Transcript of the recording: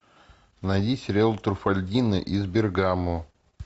найди сериал труффальдино из бергамо